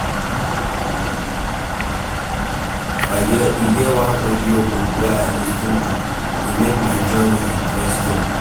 E get one audiobook wey I lis ten to, e make my journey interesting.